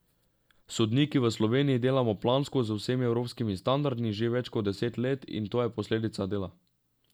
Sodniki v Sloveniji delamo plansko z vsemi evropskimi standardi že več kot deset let in to je posledica dela.